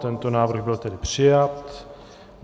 Tento návrh byl tedy přijat.